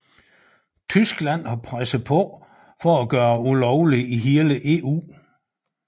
Tyskland har presset på for at gøre det ulovligt i hele EU